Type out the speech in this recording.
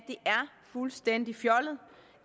fuldstændig fjollet